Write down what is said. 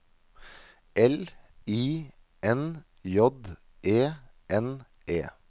L I N J E N E